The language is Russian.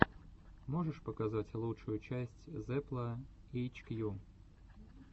можешь показать лучшую часть зепла эйчкью